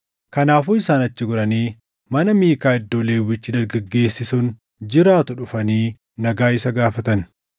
Kanaafuu isaan achi goranii mana Miikaa iddoo Lewwichi dargaggeessi sun jiraatu dhufanii nagaa isa gaafatan.